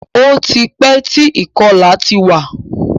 Ó ti pẹ́ tí ìkọlà ti wà.